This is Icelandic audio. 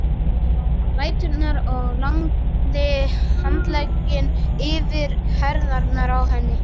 ræturnar og lagði handlegginn yfir herðarnar á henni.